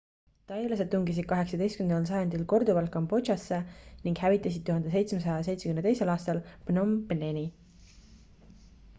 tailased tungisid 18 sajandil korduvalt kambodžasse ning hävitasid 1772 aastal phnom pheni